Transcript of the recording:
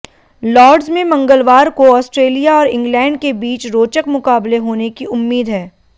Lord's में मंगलवार को ऑस्ट्रेलिया और इंग्लैंड के बीच रोचक मुकाबले होने की उम्मीद है